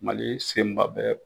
Mali senba bɛ